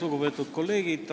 Lugupeetud kolleegid!